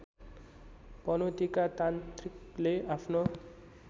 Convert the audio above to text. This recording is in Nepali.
पनौतीका तान्त्रिकले आफ्नो